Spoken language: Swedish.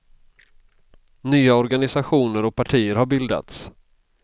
Nya organisationer och partier har bildats.